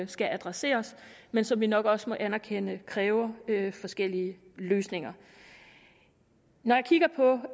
skal adresseres men som vi nok også må anerkende kræver forskellige løsninger når jeg kigger på